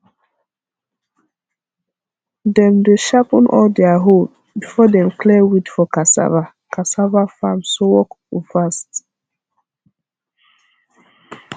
dem dey sharpen all their hoe before dem clear weed for cassava cassava farm so work go fast